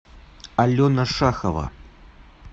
алена шахова